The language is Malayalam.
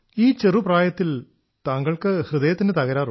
ഈ ചെറുപ്രായത്തിൽ താങ്കൾക്ക് ഹൃദയത്തിന് തകരാറോ